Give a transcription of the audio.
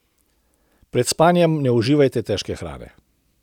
Pred spanjem ne uživajte težke hrane.